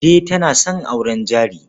Kande tana son auren jari.